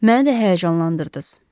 Məni də həyəcanlandırdız.